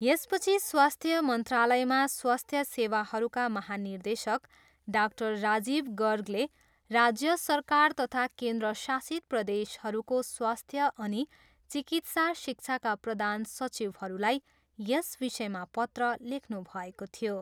यसपछि स्वास्थ्य मन्त्रालयमा स्वास्थ्य सेवाहरूका महानिर्देशक डाक्टर राजीव गर्गले राज्य सरकार तथा केन्द्रशासित प्रदेशहरूको स्वास्थ्य अनि चिकित्सा शिक्षाका प्रधान सचिवहरूलाई यस विषयमा पत्र लेख्नुभएको थियो।